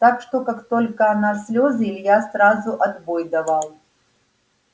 так что как только она в слёзы илья сразу отбой давал